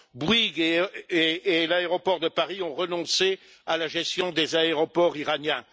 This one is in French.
Bouygues et l'aéroport de Paris ont renoncé à la gestion des aéroports iraniens.